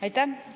Aitäh!